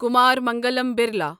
Kumar Mangalam Birla